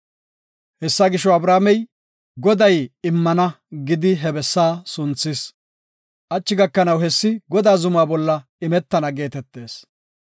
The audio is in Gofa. Hessa gisho, Abrahaamey, “Goday immana” gidi he bessa sunthis. Hachi gakanaw hessi, “Godaa zuma bolla imetana” geetetees.